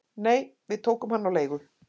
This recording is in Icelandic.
"""Nei, við tókum hann á leigu"""